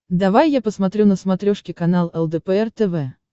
давай я посмотрю на смотрешке канал лдпр тв